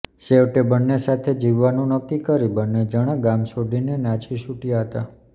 છેવટે બંને સાથે જીવવાનું નક્કી કરી બંને જણા ગામ છોડીને નાસી છૂટયા હતા